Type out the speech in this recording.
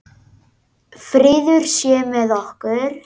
Friður sé með okkur.